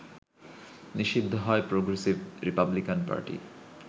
নিষিদ্ধ হয় Progressive Republican party